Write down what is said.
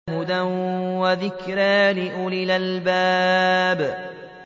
هُدًى وَذِكْرَىٰ لِأُولِي الْأَلْبَابِ